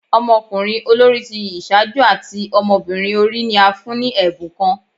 Ọmọkunrin olori ti iṣaaju ati ọmọbirin ori ni a fun ni ẹbun kan